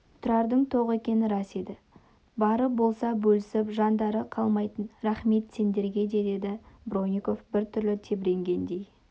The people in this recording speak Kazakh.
тұрардың тоқ екені рас еді бары болса бөлісіп жандары қалмайтын рақмет сендерге деді бронников біртүрлі тебіренгендей